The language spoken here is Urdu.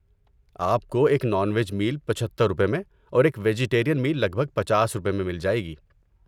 آپ کو ایک نان ویج میل پچھتر روپے میں اور ایک ویجٹیرین میل لگ بھگ پچاس روپے میں مل جائے گی